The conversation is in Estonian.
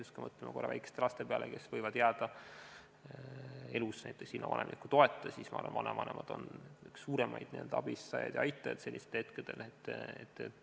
Sest kui me mõtleme korraks väikeste laste peale, kes võivad jääda elus näiteks ilma vanemliku toeta, siis ma arvan, et vanavanemad on ühed suuremad abistajad ja aitajad sellistel hetkedel.